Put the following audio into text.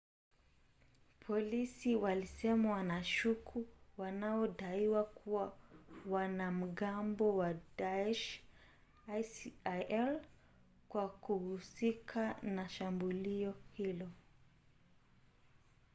polisi walisema wanashuku wanaodaiwa kuwa wanamgambo wa daesh isil kwa kuhusika na shambulio hilo